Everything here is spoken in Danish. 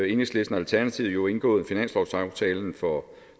enhedslisten og alternativet jo indgået finanslovsaftalen for